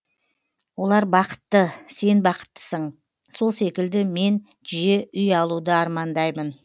олар бақытты сен бақыттысың сол секілді мен жиі үй алуды армандаймын